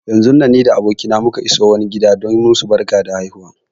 Yanzun nan ni da abokina muka iso wani gida don musu barkar haihuwa